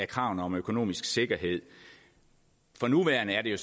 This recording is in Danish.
kravene om økonomisk sikkerhed for nuværende er det